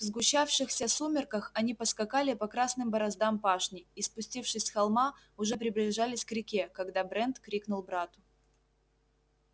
в сгущавшихся сумерках они поскакали по красным бороздам пашни и спустившись с холма уже приближались к реке когда брент крикнул брату